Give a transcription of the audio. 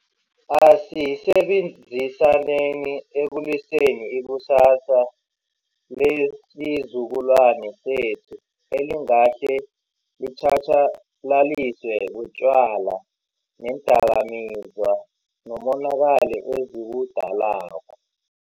Asisebenzisaneni ekweluseni ikusasa lesizukulwani sethu elingahle litjhatjalaliswe butjwala neendakamizwa, nomonakalo eziwudalako.